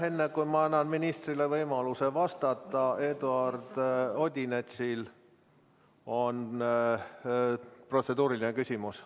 Enne kui ma annan ministrile võimaluse vastata, on Eduard Odinetsil protseduuriline küsimus.